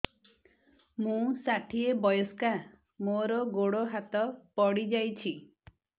ମୁଁ ଷାଠିଏ ବୟସ୍କା ମୋର ଗୋଡ ହାତ ପଡିଯାଇଛି